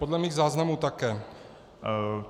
Podle mých záznamů také.